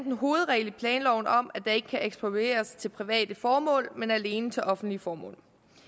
en hovedregel i planloven om at der ikke kan eksproprieres til private formål men alene til offentlige formål